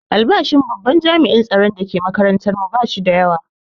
Albashin babban jami'in tsaron da ke makatantar mu ba shi da yawa